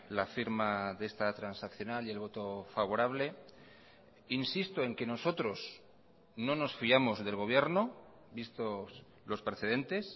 la firma de esta transaccional y el voto favorable insisto en que nosotros no nos fiamos del gobierno vistos los precedentes